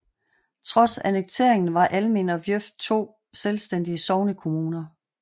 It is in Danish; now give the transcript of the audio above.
Trods annekteringen var Almind og Viuf to selvstændige sognekommuner